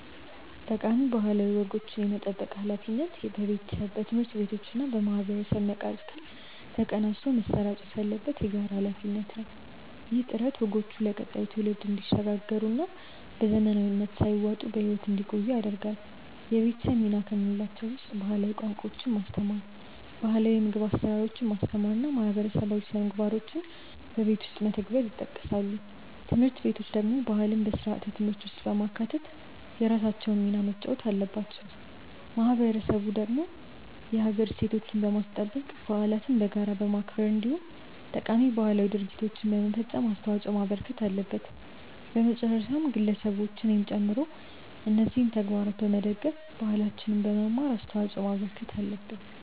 ጠቃሚ ባህላዊ ወጎችን የመጠበቅ ሃላፊነት በቤተሰብ፣ በትምህርት ቤቶችና በማህበረሰብ መካከል ተቀናጅቶ መሰራጨት ያለበት የጋራ ሃላፊነት ነው። ይህ ጥረት ወጎቹ ለቀጣዩ ትውልድ እንዲሸጋገሩና በዘመናዊነት ሳይዋጡ በህይወት እንዲቆዩ ያደርጋል። የቤተሰብ ሚና ከምንላቸው ውስጥ ባህላዊ ቋንቋዎችን ማስተማር፣ ባህላው የምግብ አሰራሮችን ማስተማር እና ማህበረሰባዊ ስነምግባሮችን በቤት ውስጥ መተግበር ይጠቀሳሉ። ትምህርት ቤቶች ደግሞ ባህልን በስርዓተ ትምህርት ውስጥ በማካተት የራሳቸውን ሚና መጫወት አለባቸው። ማህበረሰቡ ደግሞ የሀገር እሴቶችን በማስጠበቅ፣ በዓለትን በጋራ በማክበር እንዲሁም ጠቃሚ ባህላዊ ድርጊቶችን በመፈፀም አስተዋጽዖ ማበርከት አለበት። በመጨረሻም ግለሰቦች እኔንም ጨምሮ እነዚህን ተግባራት በመደገፍ እና ባህላችንን በመማር አስተዋጽዖ ማበርከት አለብን።